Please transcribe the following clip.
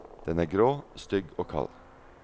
Den er grå, stygg og kald.